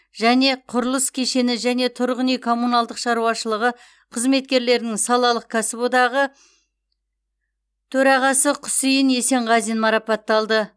және құрылыс кешені және тұрғын үй коммуналдық шаруашылығы қызметкерлерінің салалық кәсіподағы төрағасы құсейін есенғазин марапатталды